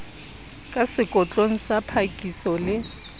ka sekotlong sa phakiso le